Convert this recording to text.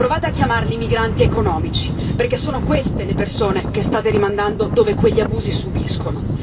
Provate a chiamarli migranti economici perché sono queste le persone che state rimandando dove quegli abusi subiscono.